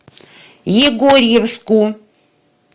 егорьевску